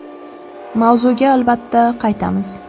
Mavzuga albatta, qaytamiz.